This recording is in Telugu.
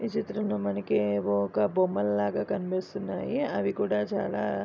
ఈ చిత్రమ్ లో మనకీ ఒక బొమ్మలాగా కనిపిస్తున్నాయి అవి కూడా చాలా --